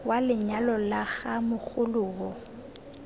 wa lenyalo la ga mogoloo